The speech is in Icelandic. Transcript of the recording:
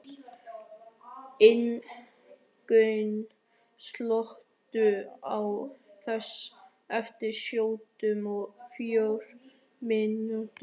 Ingunn, slökktu á þessu eftir sjötíu og fjórar mínútur.